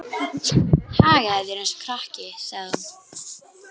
Hagar þér eins og krakki, sagði hún.